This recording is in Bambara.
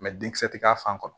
denkisɛ tɛ k'a fan kɔnɔ